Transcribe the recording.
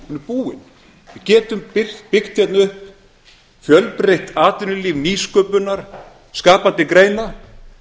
búin við getum byggt hérna upp fjölbreytt atvinnulíf nýsköpunar skapandi greina